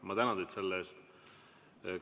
Ma tänan teid selle eest!